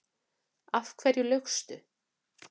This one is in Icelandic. Af hverju laugstu?